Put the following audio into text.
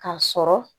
K'a sɔrɔ